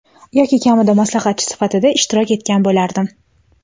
yoki kamida maslahatchi sifatida ishtirok etgan bo‘lardim.